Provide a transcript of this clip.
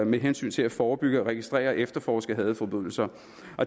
med hensyn til at forebygge registrere og efterforske hadforbrydelser